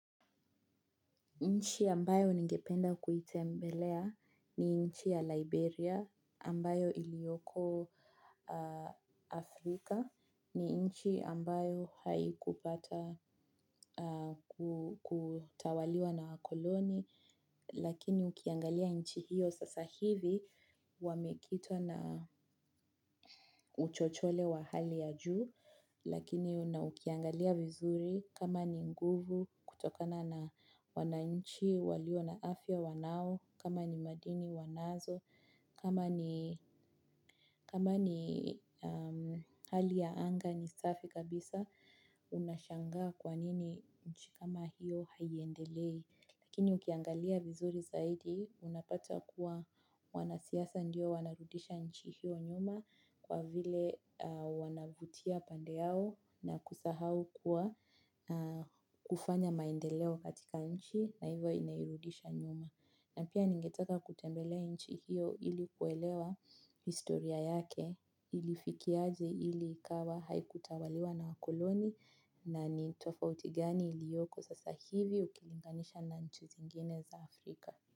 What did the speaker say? Nchi ambayo ningependa kuitembelea ni nchi ya Liberia ambayo iliyoko Afrika ni nchi ambayo haikupata kutawaliwa na wakoloni lakini ukiangalia nchi hiyo sasa hivi wamekitwa na uchochole wa hali ya juu lakini ukiangalia vizuri kama ni nguvu kutokana na wananchi walio na afya wanao, kama ni madini wanazo, kama ni kama ni hali ya anga ni safi kabisa unashangaa kwanini nchi kama hiyo haiendelei. Lakini ukiangalia vizuri zaidi, unapata kuwa wanasiasa ndio wanarudisha nchi hiyo nyuma kwa vile wanavutia pande yao na kusahau kuwa kufanya maendeleo katika nchi na hivo inairudisha nyuma. Na pia ningeteka kutembelea nchi hiyo ili kuelewa historia yake ilifikiaje ili ikawa haikutawaliwa na wakoloni na ni tofauti gani iliyoko sasa hivi ukilinganisha na nchi zingine za Afrika.